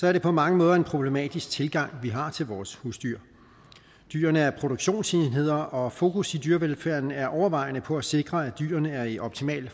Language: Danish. er det på mange måder en problematisk tilgang vi har til vores husdyr dyrene er produktionsenheder og fokus i dyrevelfærden er overvejende på at sikre at dyrene er i optimal